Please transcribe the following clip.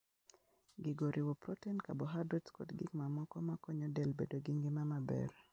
Gigo oriwo protin, carbohydrates, kod gik mamoko ma konyo del bedo gi ngima maber.